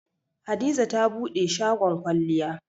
Hadiza ta buɗe shagon kwalliya.